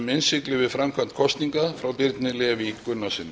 innsigli við framkvæmd kosninga frá birni leví gunnarssyni